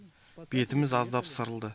бетіміз аздап сырылды